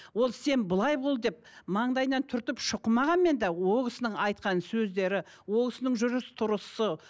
ол сен былай бол деп маңдайынан түртіп шұқымағанмен де ол кісінің айтқан сөздері ол кісінің жүріс тұрысы